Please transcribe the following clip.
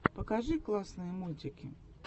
покажи классные мультики